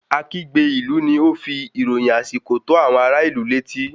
Akígbe ilu ni o n fi ìròyìn àsìkò tó àwọn ará ìlú létí